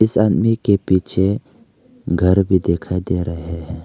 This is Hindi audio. इस आदमी के पीछे घर भी दिखाई दे रहे हैं।